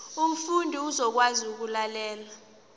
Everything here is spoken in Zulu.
umfundi uzokwazi ukulalela